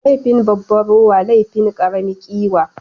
Laifin babba rowa, laifin ƙarami ƙiwa